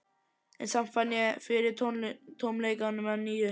Og samt fann ég fyrir tómleikanum að nýju.